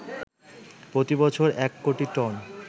প্রতিবছর ১ কোটি টন